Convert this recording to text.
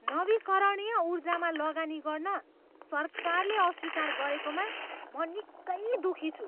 नवीकरणीय ऊर्जामा लगानी गर्न सरकारले अस्वीकार गरेकोमा म निकै दुखी छु।